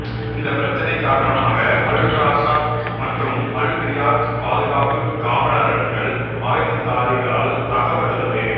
இந்தப் பிரச்சினை காரணமாக அல் ரஷாத் மற்றும் அல் ரியாத் பாதுகாப்பு காவலரண்கள் ஆயுததாரிகளால் தாக்கப்பட்டுள்ளது